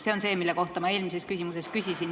See on see, mille kohta ma eelmises küsimuses küsisin.